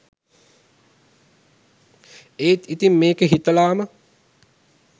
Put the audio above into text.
ඒත් ඉතින් මේක හිතලාම